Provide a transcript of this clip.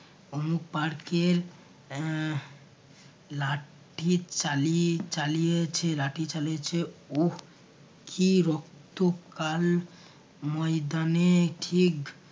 অমুক park এর এর লাঠি চালি~ চালিয়ে লাঠি চলিছে ও কী রক্ত কাল ময়দানে ঠিক